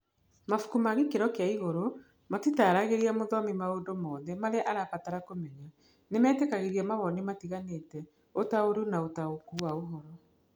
Mabuku ma gĩkĩro kĩa igũrũ matitaaragĩria mũthomi maũndũ mothe marĩa arabatara kũmenya; nĩ metĩkagĩria mawoni matiganĩte, ũtaũri na ũtaũku wa ũhoro.